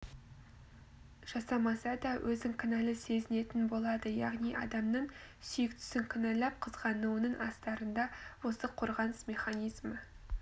жасамаса да өзін кінәлі сезінетін болады яғни адамның сүйіктісін кінәлап қызғануының астарында осы қорғаныс механизмі